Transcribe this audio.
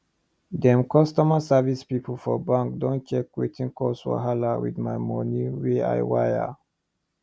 dem customer service pipu for bank don check wetin cause wahala with my money wey i wire